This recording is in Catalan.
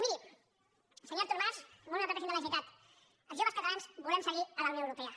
miri senyor artur mas honorable president de la generalitat els joves catalans volem seguir a la unió europea